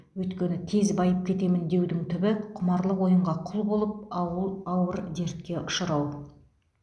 өйткені тез байып кетемін деудің түбі құмарлық ойынға құл болып ауы ауыр дертке ұшырау